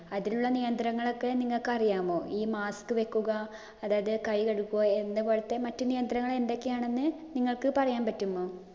അതിനുള്ള നിയന്ത്രങ്ങളൊക്കെ നിങ്ങൾക്ക് അറിയാമോ? ഈ mask വയ്ക്കുക, അതായത് കൈ കഴുകുക എന്ന് പോലത്തെ മറ്റു നിയന്ത്രങ്ങള്‍ എന്തൊക്കെയാണ് നിങ്ങള്‍ക്ക് പറയാന്‍ പറ്റുമോ?